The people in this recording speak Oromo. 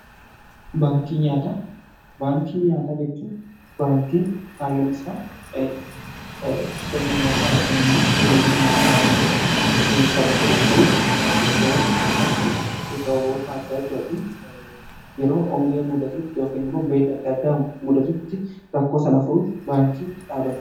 baankiin nyaataa jechuun baankii kaayyoon isaa sirna nyaataa ykn immoo tajaajila nyaataa keessatti taphatudha. kunis iddoowwan adda addaatti sababoota adda addaatin yeroo hongee muudatutti ykn immoo beela adda addaa muudatutti rakkoo sana furuuf baankii dhaabaatedha.